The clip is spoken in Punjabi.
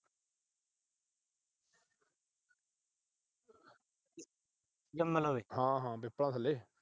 ਹਾਂ ਹਾਂ